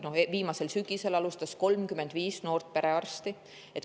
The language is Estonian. Viimasel sügisel alustas 35 noort perearsti.